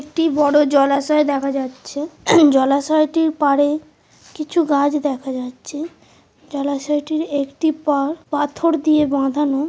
একটি বড়ো জলাশয় দেখা যাচ্ছে জলাশয়টির পারে কিছু গাছ দেখা যাচ্ছে জলাশয়টির একটি পাড়পাথর দিয়ে বাঁধানো।